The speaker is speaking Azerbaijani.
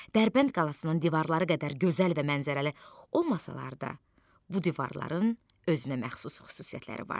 Dərbənd qalasının divarları qədər gözəl və mənzərəli olmasalar da, bu divarların özünə məxsus xüsusiyyətləri var.